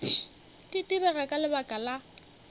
di direga ka lebaka la